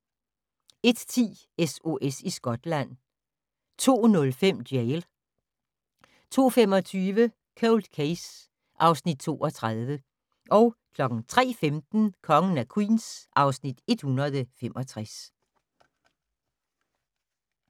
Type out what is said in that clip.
01:10: SOS i Skotland 02:05: Jail 02:25: Cold Case (Afs. 32) 03:15: Kongen af Queens (Afs. 165)